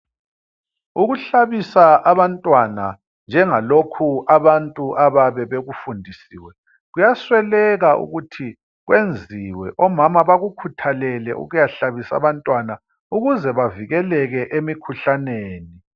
ukuhlabisa abantwana njengalokhu abantu ababe bekufundisiwe kuyasweleka ukuthi kwenziwe omama bakukhuthalele ukuya hlabisa abantwana ukuze bavikeleke emikhuhlaneni